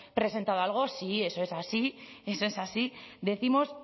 presentado algo sí eso es así eso es así decimos